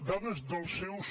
dades dels seus